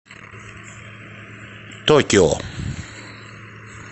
токио